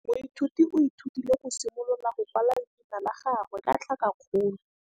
Moithuti o ithutile go simolola go kwala leina la gagwe ka tlhakakgolo.